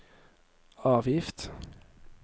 avgift